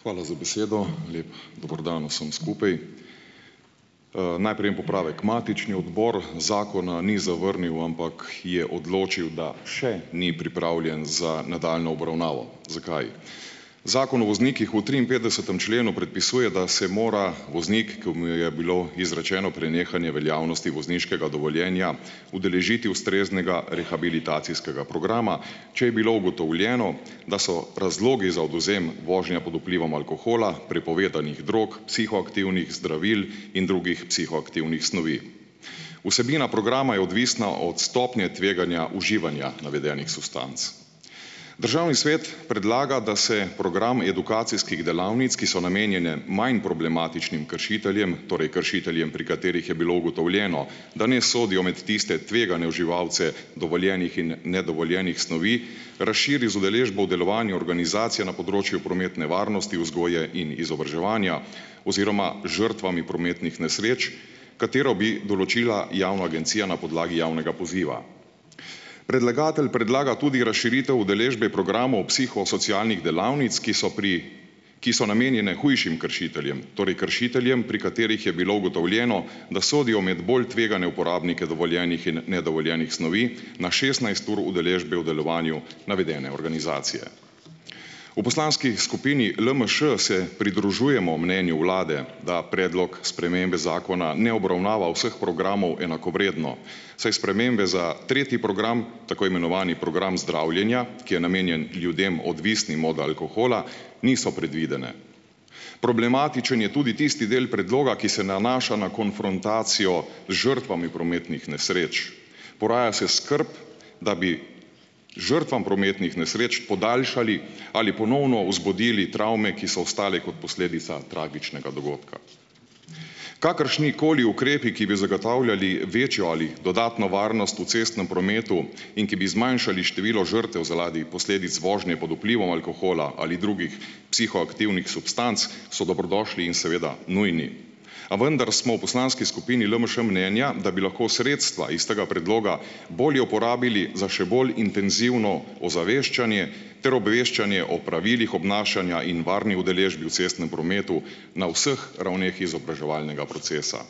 Hvala za besedo. Lep dober dan vsem skupaj! Najprej en popravek. Matični odbor zakona ni zavrnil, ampak je odločil, da še ni pripravljen za nadaljnjo obravnavo. Zakaj? Zakon o voznikih v triinpetdesetem členu predpisuje, da se mora voznik, ki mu je bilo izrečeno prenehanje veljavnosti vozniškega dovoljenja, udeležiti ustreznega rehabilitacijskega programa, če je bilo ugotovljeno, da so razlogi za odvzem vožnje pod vplivom alkohola, prepovedanih drog, psihoaktivnih zdravil in drugih psihoaktivnih snovi. Vsebina programa je odvisna od stopnje tveganja uživanja navedenih substanc. Državni svet predlagam, da se program edukacijskih delavnic, ki so namenjene manj problematičnim kršiteljem, torej kršiteljem, pri katerih je bilo ugotovljeno, da ne sodijo med tiste tvegane uživalce dovoljenih in nedovoljenih snovi, razširi z udeležbo v delovanju organizacije na področju prometne varnosti, vzgoje in izobraževanja oziroma žrtvami prometnih nesreč, katero bi določila javna agencija na podlagi javnega poziva. Predlagatelj predlaga tudi razširitev udeležbe programov psihosocialnih delavnic, ki so pri ki so namenjene hujšim kršiteljem, torej, kršiteljem, pri katerih je bilo ugotovljeno, da sodijo med bolj tvegane uporabnike dovoljenih in nedovoljenih snovi na šestnajst ur udeležbe v delovanju navedene organizacije. V poslanski skupini LMŠ se pridružujemo mnenju Vlade, da predlog spremembe zakona ne obravnava vseh programov enakovredno, saj spremembe za tretji program, tako imenovani program zdravljenja, ki je namenjen ljudem, odvisnim od alkohola, niso predvidene. Problematičen je tudi tisti del predloga, ki se nanaša na konfrontacijo z žrtvami prometnih nesreč. Poraja se skrb, da bi žrtvam prometnih nesreč podaljšali ali ponovno vzbudili travme, ki so ostale kot posledica tragičnega dogodka. Kakršnikoli ukrepi, ki bi zgotavljali večjo ali dodatno varnost v cestnem prometu in ki bi zmanjšali število žrtev zaradi posledic vožnje pod vplivom alkohola ali drugih psihoaktivnih substanc, so dobrodošli in seveda nujni. A vendar smo v poslanski skupini LMŠ mnenja, da bi lahko sredstva iz tega predloga bolje uporabili za še bolj intenzivno ozaveščanje ter obveščanje o pravilih obnašanja in varni udeležbi v cestnem prometu na vseh ravneh izobraževalnega procesa.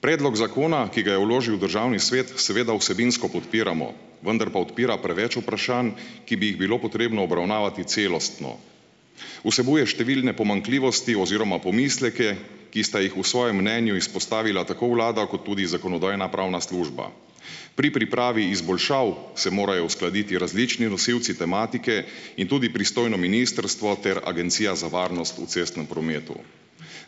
Predlog zakona, ki ga je vložil Državni svet seveda vsebinsko podpiramo, vendar pa odpira preveč vprašanj, ki bi jih bilo potrebno obravnavati celostno. Vsebuje številne pomanjkljivosti oziroma pomisleke, ki sta jih v svojem mnenju izpostavila tako vlada kot tudi Zakonodajno-pravna služba. Pri pripravi izboljšav se morajo uskladiti različni rosivci tematike in tudi pristojno ministrstvo ter Agencija za varnost v cestnem prometu.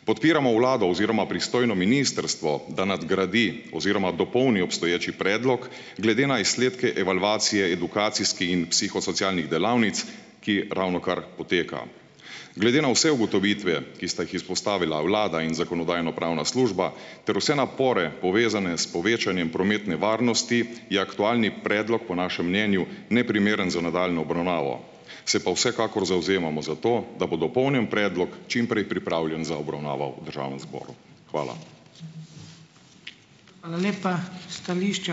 Podpiramo vlado oziroma pristojno ministrstvo, da nadgradi oziroma dopolni obstoječi predlog glede na izsledke evalvacije, edukacijskih in psihosocialnih delavnic, ki ravnokar poteka. Glede na vse ugotovitve, ki sta jih izpostavila vlada in Zakonodajno-pravna služba, ter vse napore, povezane s povečanjem prometne varnosti, je aktualni predlog po našem mnenju neprimeren za nadaljnjo obravnavo. Se pa vsekakor zavzemamo za to, da bo dopolnjen predlog čim prej pripravljen za obravnavo v Državnem zboru. Hvala.